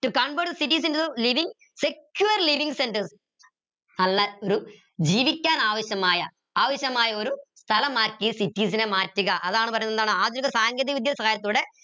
to convert cities into living secure living centres നല്ല ഒരു ജീവിക്കാൻ ആവശ്യമായ ആവശ്യമായ ഒരു സ്ഥലമാക്കി cities നെ മാറ്റുക അതാണ് പറീന്നത് എന്താണ് ആധുനിക സാങ്കേതികവിദ്യ സഹായത്തോടെ